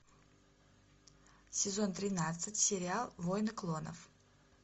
сезон тринадцать сериал войны клонов